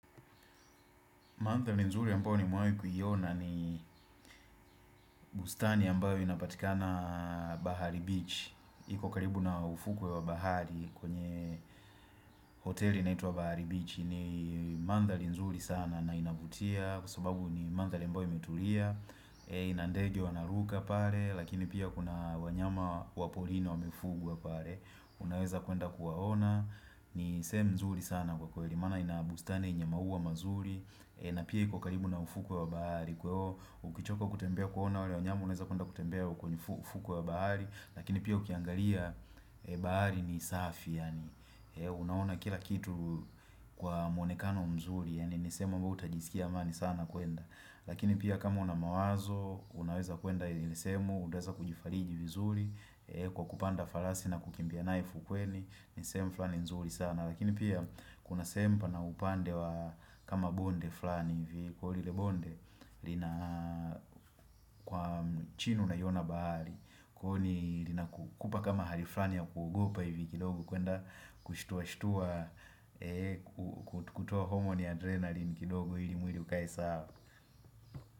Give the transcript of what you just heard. Mandhari nzuri ambayo nimewahi kuiona ni bustani ambayo inapatikana bahari Beach iko karibu na ufukwe wa bahari kwenye hoteli inaitwa bahari Beach ni mandhari nzuri sana na inavutia kwa sababu ni mandhari ambayo imetulia ina ndege wanaruka pale, lakini pia kuna wanyama waporini wamefugwa pale Unaweza kuenda kuwaona, ni sehemu nzuri sana kwa kweli Maana ina bustani yenye maua mazuri na pia iko karibu na ufukwe wa bahari Kwahivyo ukichoka kutembea kuona wale wanyamu unaweza kwenda kutembea kwenye ufukwe wa bahari Lakini pia ukiangalia bahari ni safi Unaona kila kitu Kwa mwonekano mzuri yaani niseme wewe utajisikia amani sana kuenda Lakini pia kama una mawazo Unaweza kuenda ili sehemu utaweza kujifariji vizuri Kwa kupanda farasi na kukimbia naye fukweni ni sehemu fulani nzuri sana Lakini pia kuna sehemu pana upande wa kama bonde fulani hivi kwa hile bonde lina kwa mchinuu unaiyona bahari huoni linakupa kama hari fulani ya kuogopa hivi kidogo kuenda kushtua-shtua kutoa homoni ya adrenalin kidogo ili mwili ukae sawa.